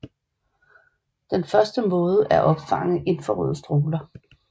Den første måde er at opfange infrarøde stråler